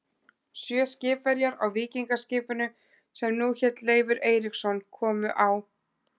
Sjö skipverjar á víkingaskipinu, sem nú hét Leifur Eiríksson, komu á